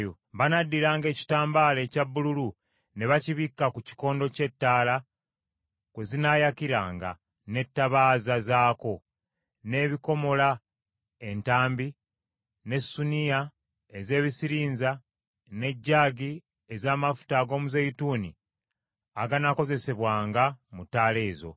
“Banaddiranga ekitambaala ekya bbululu ne bakibikka ku kikondo ky’ettaala kwe zinaayakiranga, n’ettabaaza zaako, n’ebikomola entambi n’ensuniya ez’ebisirinza, n’ejaagi ez’amafuta ag’omuzeeyituuni aganaakozesebwanga mu ttaala ezo.